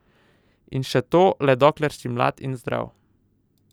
In še to le dokler si mlad in zdrav.